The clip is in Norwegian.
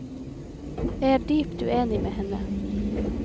Jeg er dypt uenig med henne.